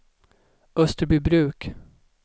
Österbybruk